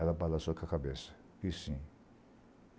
Ela balançou com a cabeça, disse sim.